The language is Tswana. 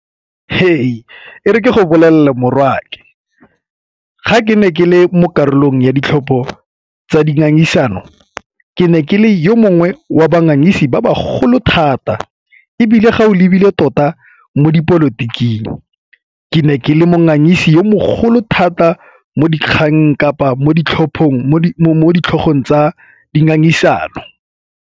He! E re ke go bolelela morwaake. Ga ke ne ke le mo karolong ya ditlhopho tsa dingangisano ke ne ke le yo mongwe wa bangwe ise ba ba golo thata ebile ga o lebile tota mo dipolotiking, ke ne ke le mo ngangise yo mogolo thata mo dikgang kapa mo ditlhogong tsa dingangisano.